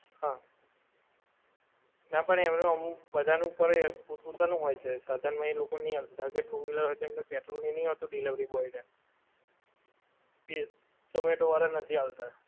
હા. નાં પણ એમનું અમુક બધાનું કરે પોત પોતાનું હોય છે સાધન માં એ લોકો ની આપતા. કે two wheeler હોય કેમકે પેટ્રોલ ને ઈ નહિ હોતું delivery boy ને. ઈ ઝોમેટો વાળાં નથી આલતા.